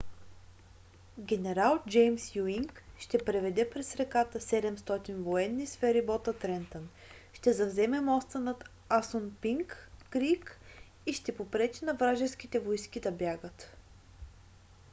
генерал джеймс юинг ще преведе през реката 700 военни с ферибота трентън ще завземе моста над асунпинк крийк и ще попречи на вражеските войски да избягат